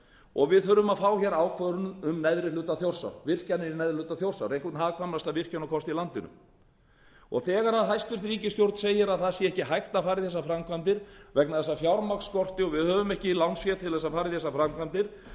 og við þurfum að fá ákvörðun um virkjanir í neðri hluta þjórsár einhvern hagkvæmasta virkjunarkost í landinu þegar hæstvirt ríkisstjórn segir að það sé ekki hægt að fara í þessar framkvæmdir vegna þess að fjármagn skortir og við höfum ekki lánsfé til að fara í þessar framkvæmdir